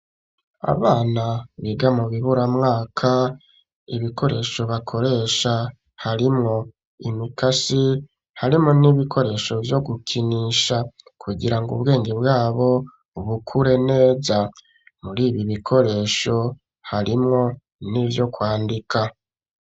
Abana biga mu bibura mwaka, ibikoresho bakoresha harimwo imikasi harimwo n'ibikoresho vyo gukinisha, kugira ngo ubwenge bwabo bukure neza . Muri ibi bikoresho harimwo n'ivyo kwandika.